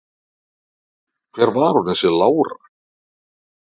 Hver var hún þessi Lára?